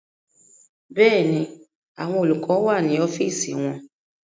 Bẹ́ẹ̀ni, àwọn olùkọ́ni wà ní ọ́fíìsì wọn